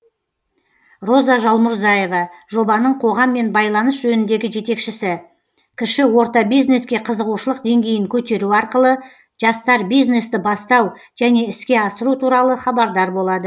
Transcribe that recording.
роза жалмұрзаева жобаның қоғаммен байланыс жөніндегі жетекшісі кіші орта бизнеске қызығушылық деңгейін көтеру арқылы жастар бизнесті бастау және іске асыру туралы хабардар болады